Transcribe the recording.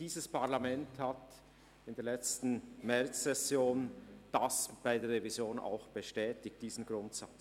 Das Parlament hat diesen Grundsatz bei der Revision in der letzten Märzsession bestätigt.